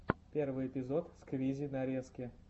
первый эпизод сквизи нарезки